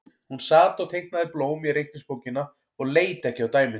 Hún sat og teiknaði blóm í reikningsbókina og leit ekki á dæmin.